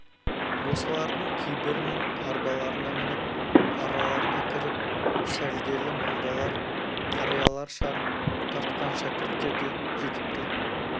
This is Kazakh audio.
осылардың кейбірінің арбаларына мініп араларына кіріп сәлделі молдалар қариялар шар тартқан шәкірттер де жетіпті